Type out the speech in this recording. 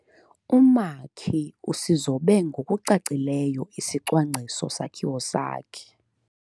Umakhi usizobe ngokucacileyo isicwangciso-sakhiwo sakhe.